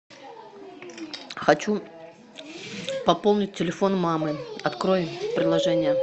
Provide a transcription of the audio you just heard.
хочу пополнить телефон мамы открой приложение